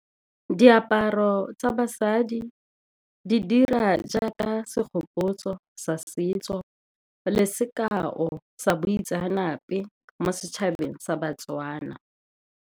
Diaparo tsa basadi di dira jaaka segopotso sa setso le sekao sa boitseanape mo setšhabeng sa BaTswana.